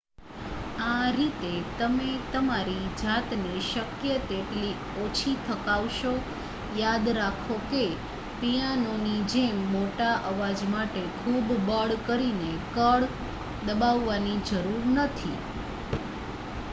આ રીતે તમે તમારી જાતને શક્ય તેટલી ઓછી થકવશો યાદ રાખો કે પિયાનોની જેમ મોટા અવાજ માટે ખૂબ બળ કરીને કળ દબાવવાની જરૂર નથી